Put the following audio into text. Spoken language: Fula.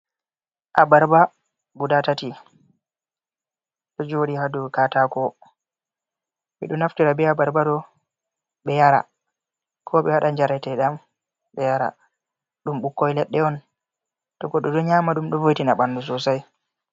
Abarba guɗa tati. Ɗo jodi ha dau katako. Bedo naftira be abarba ɗo be yara, ko be wadan jarataidan be yara. Dum bukkoi leɗɗeon to goɗɗo do nyama dum dk vo'itina banɗu sosai.